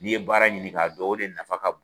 N'i ye baara ɲini ka dɔn o de nafa ka bon